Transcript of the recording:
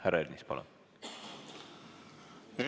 Härra Ernits, palun!